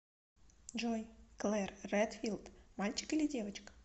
джой клэр редфилд мальчик или девочка